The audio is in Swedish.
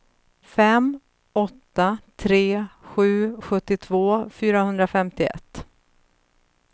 fem åtta tre sju sjuttiotvå fyrahundrafemtioett